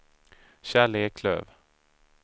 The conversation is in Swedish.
Kjell Eklöf